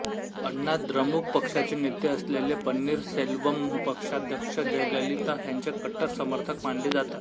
अण्णा द्रमुक पक्षाचे नेते असलेले पन्नीरसेल्वम पक्षाध्यक्ष जयललिता ह्यांचे कट्टर समर्थक मानले जातात